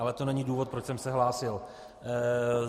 Ale to není důvod, proč jsem se hlásil.